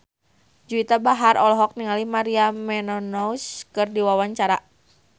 Juwita Bahar olohok ningali Maria Menounos keur diwawancara